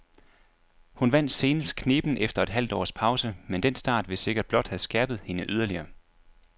Hun vandt senest knebent efter et halvt års pause, men den start vil sikkert blot have skærpet hende yderligere.